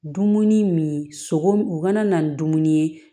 Dumuni min sogo u kana na ni dumuni ye